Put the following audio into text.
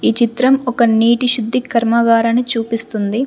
ఈ చిత్రం ఒక నీటి శుద్ధి కర్మాగారాన్ని చూపిస్తుంది.